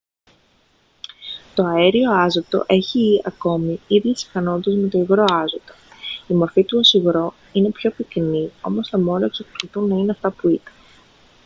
το αέριο άζωτο έχει ακόμη ίδιες ικανότητες με το υγρό άζωτο η μορφή του ως υγρό είναι πιο πυκνή όμως τα μόρια εξακολουθούν να είναι αυτά που ήταν